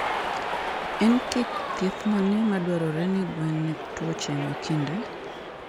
En kit thieth mane madwarore ne gwen ne tuohe makinde?